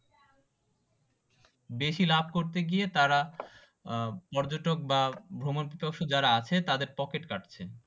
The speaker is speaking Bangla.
বেশি লাভ করতে গিয়ে তারা পর্যটক বা ভ্রমণপিপাসু যারা আসে তাদের পকেট কাটছে